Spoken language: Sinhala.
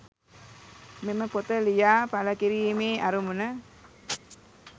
මෙම පොත ලියා පල කිරීමේ අරමුණ